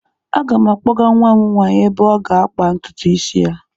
Aga m akpọga nwa m nwaanyị ebe ọ ga-akpa ntutu isi ya.